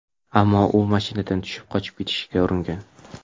Ammo u mashinadan tushib qochib ketishga uringan.